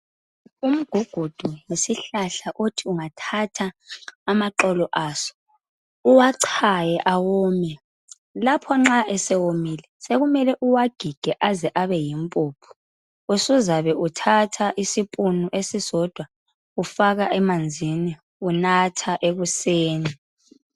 Umgugudu yisihlahla othi ungathatha amaxolo aso. Uwachaye awome. Lapho nxa esewomile, sekumele uwagige aze abe yimpuphu. Usuzabe uthatha isipunu esisodwa, ufake emanzini. Unatha ekuseni.